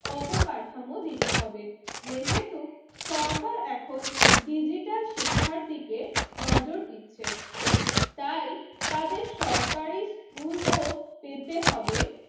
অবকাঠামো দিতে হবে। যেহেতু সরকার এখন ডিজিটাল শিক্ষার দিকে নজর দিচ্ছে, তাই তাদের সরকারি স্কুল ও পেতে হবে।